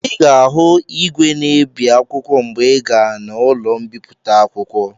Ị ga-ahụ igwe na-ebi akwụkwọ mgbe ị gaa n'ụlọ mbipụta akwụkwọ.